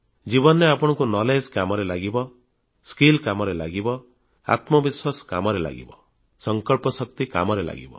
ଜୀବନରେ ଆପଣଙ୍କୁ ଜ୍ଞାନKnowledge କାମରେ ଲାଗିବ ଦକ୍ଷତାSkill କାମରେ ଲାଗିବ ଆତ୍ମବିଶ୍ୱାସ କାମରେ ଲାଗିବ ସଂକଳ୍ପଶକ୍ତି କାମରେ ଲାଗିବ